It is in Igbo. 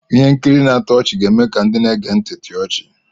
Ihe nkiri na-atọ ọchị ga-eme ka ndị na-ege ntị chịa ọchị.